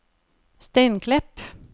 Steinklepp